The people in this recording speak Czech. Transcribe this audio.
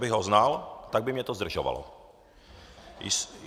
Kdybych ho znal, tak by mě to zdržovalo."